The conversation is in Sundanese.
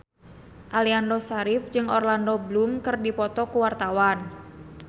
Aliando Syarif jeung Orlando Bloom keur dipoto ku wartawan